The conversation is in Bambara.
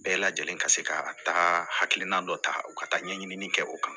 Bɛɛ lajɛlen ka se ka taga hakilina dɔ ta u ka taa ɲɛɲini kɛ o kan